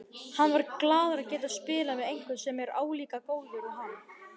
Hann var glaður að geta spilað við einhvern sem er álíka góður og hann.